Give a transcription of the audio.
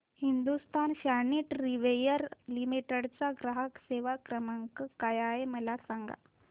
Hindustan Sanitaryware Limited चा ग्राहक सेवा क्रमांक काय आहे मला सांगा